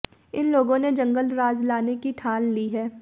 इन लोगों ने जंगलराज लाने की ठान ली है